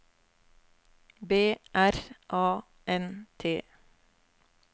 B R A N T